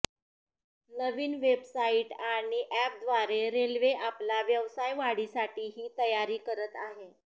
नवीन website आणि अॅपद्वारे railway आपला व्यवसाय वाढीसाठी ही तयारी करत आहे